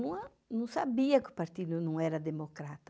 não a não sabia que o partido não era democrata.